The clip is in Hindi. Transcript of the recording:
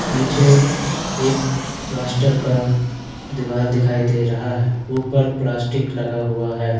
पीछे एक प्लास्टर का दीवाल दिखाई दे रहा है ऊपर प्लास्टिक लगा हुआ है।